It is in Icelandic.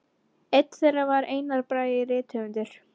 Einn þeirra var Einar Bragi rithöfundur.